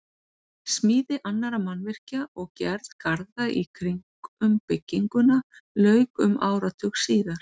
Smíði annarra mannvirkja og gerð garða í kring um bygginguna lauk um áratug síðar.